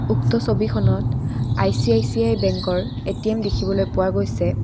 উক্ত ছবিখনত আই_চি_আই_চি_আই বেঙ্কৰ এ_টি_এম দেখিবলৈ পোৱা গৈছে।